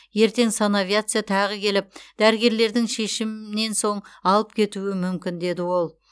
ертең санавиация тағы келіп дәрігерлердің шешімнен соң алып кетуі мүмкін деді ол